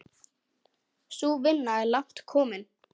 Sú vinna er langt komin.